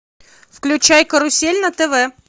включай карусель на тв